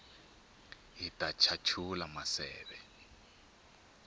hit chachula maseve